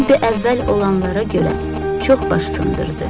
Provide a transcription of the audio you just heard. Robbi əvvəl olanlara görə çox baş sındırdı.